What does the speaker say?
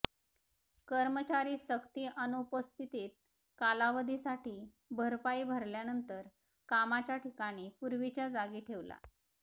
कर्मचारी सक्ती अनुपस्थितीत कालावधीसाठी भरपाई भरल्यानंतर कामाच्या ठिकाणी पूर्वीच्या जागी ठेवला